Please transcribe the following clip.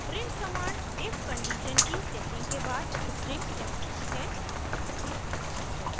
print command if condition की checking के बाद string दर्शाती है